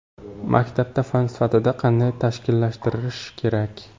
Maktabda fan sifatida qanday tashkillashtirish kerak?